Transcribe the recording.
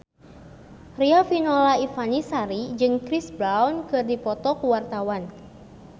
Riafinola Ifani Sari jeung Chris Brown keur dipoto ku wartawan